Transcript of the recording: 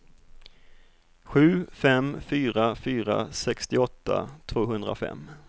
sju fem fyra fyra sextioåtta tvåhundrafem